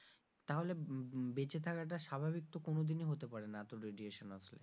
তাহলে বেঁচে থাকা টা স্বাভাবিক তো কোনদিনই হতে পারে না এতো radiation আসলে।